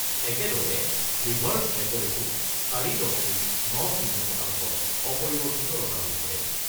একেদৰে ৰিভাৰ্ছ ৰেপৰোটো ৪ দশমিক ৯-০ শতাংশত অপৰিৱৰ্তিত ৰখা হৈছে।